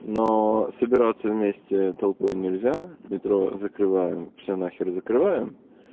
но собираться вместе толпой нельзя метро закрываем все нахер закрываем